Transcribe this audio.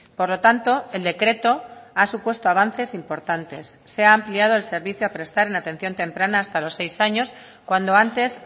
por lo tanto el decreto ha supuesto avances importantes se ha ampliado el servicio a prestar en atención temprana hasta los seis años cuando antes